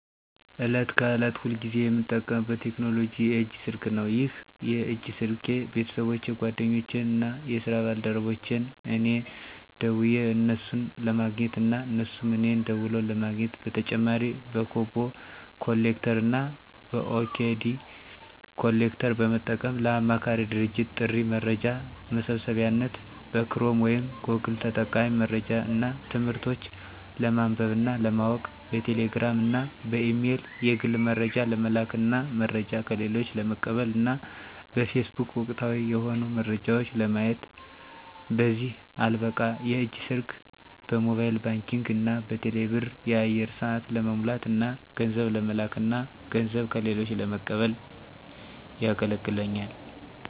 ዕለት ከዕለት ሁልጊዜ የምጠቀምበት ቴክኖሎጂ የእጅ ስልክ ነው። ይህ የእጅ ስልኬ ቤተሰቦቼን፣ ጓደኞቼን እና የስራ ባልደረቦቼን እኔ ደውየ እነሱን ለማግኘት እና እነሱም እኔን ደውለው ለማግኘት። በተጨማሪ በኮቦ ኮሌክተር እና በኦዲኬ ኮሌክተር በመጠቀም ለአማካሪ ድርጅቶች ጥሬ መረጃ መሰብሰቢያነት፣ በክሮም ወይም ጎግል ጠቃሚ መረጃዎች እና ትምህርቶች ለማንበብ እና ለማወቅ፣ በቴሌ ግራም እና በኢሜል የግል መረጃ ለመላክ እና መረጃ ከሌሎች ለመቀበል እና በፌስቡክ ወቅታዊ የሆኑ መረጃዎች ለማየት። በዚህም አልበቃ የእጅ ስልኬ በሞባይል ባንኪንግ እና በቴሌ ብር የአየር ሰአት ለመሙላት እና ገንዘብ ለመለክ እና ገንዘብ ከሌሎች ለመቀበል የገለግለኛል።